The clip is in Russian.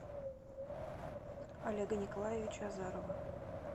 олега николаевича азарова